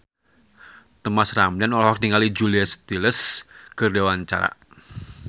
Thomas Ramdhan olohok ningali Julia Stiles keur diwawancara